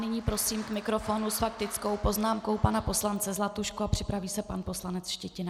Nyní prosím k mikrofonu s faktickou poznámkou pana poslance Zlatušku a připraví se pan poslanec Štětina.